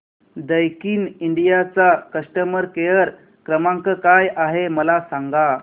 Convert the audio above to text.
Daikin India चा customer care क्रमांक काय आहे मला सांगा